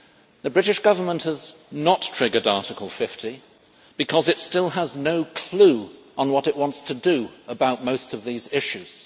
The British Government has not triggered Article 50 because it still has no clue on what it wants to do about most of these issues.